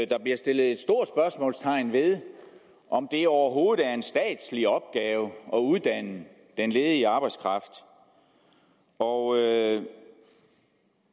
der blev stillet stort spørgsmålstegn ved om det overhovedet er en statslig opgave at uddanne den ledige arbejdskraft og